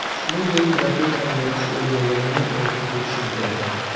Shuningdek, raqib ham yaxshi o‘ynaganini aytib o‘tishim kerak.